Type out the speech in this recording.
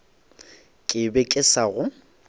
ke be ke sa go